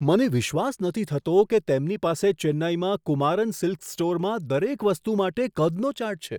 મને વિશ્વાસ નથી થતો કે તેમની પાસે ચેન્નઈમાં કુમારન સિલ્ક્સ સ્ટોરમાં દરેક વસ્તુ માટે કદનો ચાર્ટ છે.